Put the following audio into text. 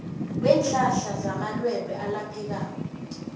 weenhlahla zamalwelwe alaphekako